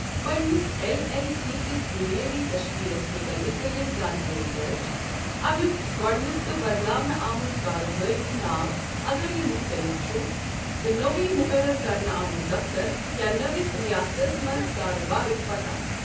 پنٛنس L L C كِس بُنیٲدی تشکیٖلس مُتعلِق کٔرِو زانٛکٲری درج، اَمیُک گۄڈنیُک تہٕ بدلاونہٕ آمُت کارٕبٲرۍ ناو اَگر یِہِ مختلف چُھ ، تہٕ نوٚوُے مقرر کرنہٕ آمُت دفتَر، یا نٔوِس رِیاستَس منٛز کارٕبارُک پتاہ ۔